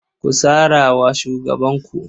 Ku sara wa shugabanku.